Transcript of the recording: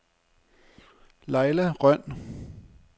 Lajla Rønn